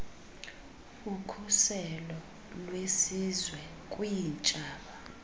ukhuselo lwesizwe kwiintshaba